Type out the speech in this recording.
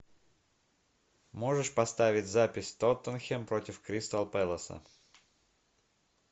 можешь поставить запись тоттенхэм против кристал пэласа